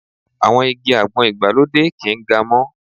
Àwọn igi àgbọn ìgbàlódé kì ń ga mọ́.